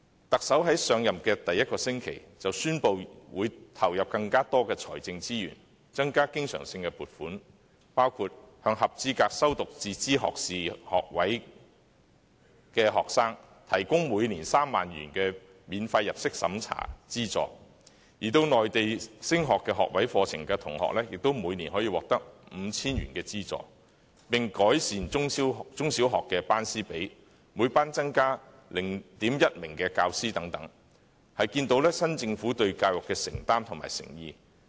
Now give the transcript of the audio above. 特首在上任第一個星期，便宣布會投入更多財政資源，增加經常性撥款，包括向合資格修讀自資學士學位的學生，提供每年3萬元的免入息審查資助，而前往內地升讀學位課程的學生，亦可每年獲得 5,000 元的資助；改善中小學的班師比例，每班增加 0.1 名教師，可見新政府對教育的承擔和誠意。